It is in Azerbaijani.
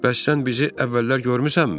Bəs sən bizi əvvəllər görmüsənmi?